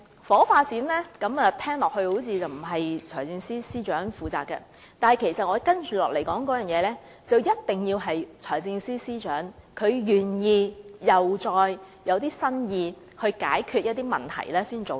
房屋發展聽來並非財政司司長負責，但我接着提出的必須得到財政司司長首肯，並且要有新意才能做到。